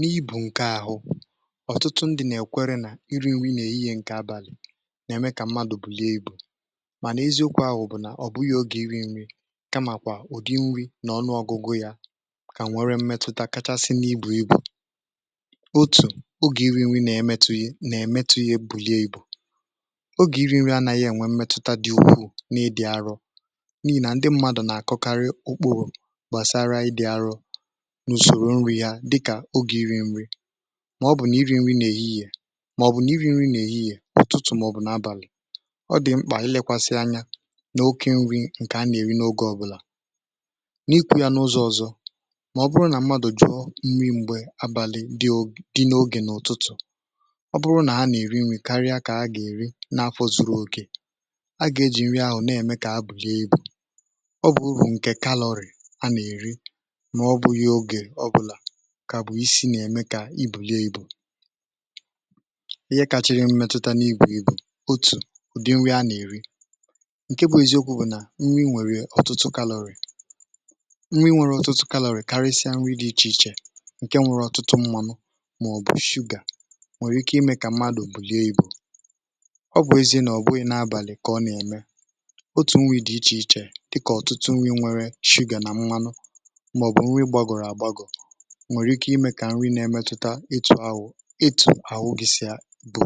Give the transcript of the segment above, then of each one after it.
n’ibù ǹke àhụ ọ̀tụtụ ndị̇ nà-èkwere nà iri̇ nri nà èyì ye nke abàlị nà-èmeka mmadụ̀ bulie ibù mànà eziokwu ahụ̀ bụ̀ nà ọ̀bụghị̇ ogè iri̇ nri̇ kamàkwà ụ̀dị nri n’ọnụọgụgụ yȧ kà nwèrè mmetụta kachasị n’ibù ibù um otù ogè iri̇ nri̇ nà-èmetụ yȧ, nà-èmē kà ebulie ibù, ogè iri̇ nri anȧghị̇ ènwè mmetụta dị̇ ukwù n’ịdị̇ arọ̇ n’ihi nà ndị mmadụ̀ nà-àkọkarị ụkpụrụ̇ dịkà ogè iri̇ nri̇ maọ̀bụ̀ nà iri̇ nri̇ na-èhihì yè ọ̀tụtụ mọ̀bụ̀ n’abàlị̀. ọ dị̀ mkpà ilėkwàsị̀ ányá n’okė nri̇ ǹkè a nà-èri n’ogè ọ̀bụlà, n’ikwȯ yȧ n’ụzọ̇ ọ̀zọ, maọ̀bụrụ nà mmadụ̀ jụọ nri m̀gbè abàlị̀, dịkà n’ogè n’ụtụtụ̀ um ọ bụrụ nà a nà-èri nri̇ karịa kà a gà-èri n’afọ zuru oke, a gà-ejì nri ahụ̀ na-ème kà abụ̀lị ebu̇. ọ bụ̀ ụ̀rụ̄ ǹkè kalọrị̀ a nà-èri kà bụ̀ isi nà-èmeka ibuli ibù ihe kàchiri mmetụta n’ibù ibù bụ̀ ụ̀dị nri̇ a nà-èri. ǹke bụ̇ eziokwu̇ bụ̀ nà nri nwèrè ọ̀tụtụ gallery, karịsịa nri̇ dị̇ ichè ichè ǹke nwere ọ̀tụtụ mmȧnụ̇ màọ̀bụ̀ shuga, nwèrè ike imė kà mmadụ̀ buli ebu̇ ọ bụ ezie nà ọ̀bụ̀ n’abàlị̀ kà ọ nà-ème. otù nwèrè ichè ichè dịkà ọ̀tụtụ nri̇ nwere shuga nà mmanụ nwèrè ike imė kà nri na-èmetụta ịtụ̀ ahụ̀. ịtụ̀ àhụgịsi bụ̀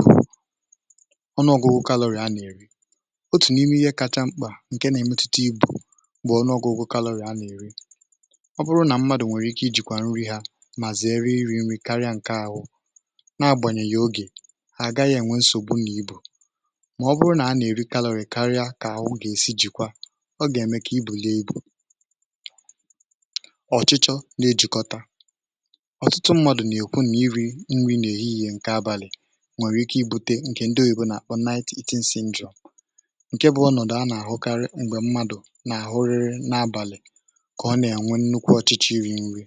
ọnụọgụgụ kalọrị̀ ya nà-èri — otù n’ime ihe kacha mkpà ǹke na-èmetụta ibu̇ bụ̀ ọnụọgụgụ kalọrị̀ ya nà-èri um. ọ bụrụ nà mmadụ̀ nwèrè ike ijìkwà nri hȧ mà zere iri̇ nri̇ karịa ǹke àhụ, nà-agbànyè ya n’ogè hà, àgaghị̇ ènwe nsògbu nà ibu̇. mà ọ bụrụ nà a nà-èri kalọrị̀ karịa kà ahụ gà-èsi jìkwà, ọ gà-èmeka ibu̇ lie ibu̇. ọ̀tụtụ mmadụ̀ nà-èkwu nà iri̇ nri nà èhihì ǹke abàlị̀ nwèrè ike ibute ǹkè ndị òyìbùnàibo ǹke a nà-àkpọ eighteen sinjo ǹke bụ̇ ọnọ̀dụ̀ a nà-àhụkarị m̀gbè mmadụ̀ nà-àhụri n’abàlị̀ kà ọ nà-ènwe nnukwu ọ̀chịchị iri̇ nri̇.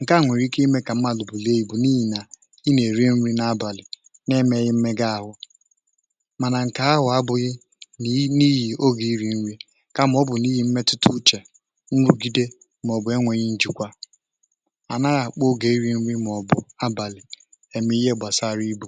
ǹke à nwèrè ike imė kà mmadụ̀ bù lee bù, n’ihi̇ nà i nà-èri nri̇ n’abàlị̀ n’ime ii megȧ ȧhụ̀, mànà ǹkè ahụ̀ abụghị n’ihì ogè iri̇ nri̇, kàmà ọ bụ̀ n’ihì mmetụta uchè. nrugide a naghị akpa oge iri̇ nwe maọ̀bụ̀ abàlị̀ eme ihe gbasara ibù.